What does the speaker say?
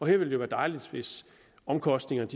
her ville det være dejligt hvis omkostningerne